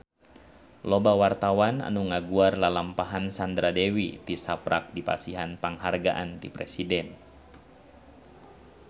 Loba wartawan anu ngaguar lalampahan Sandra Dewi tisaprak dipasihan panghargaan ti Presiden